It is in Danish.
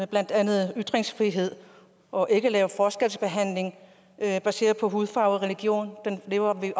blandt andet ytringsfrihed og ikke at lave forskelsbehandling baseret på hudfarve og religion det lever vi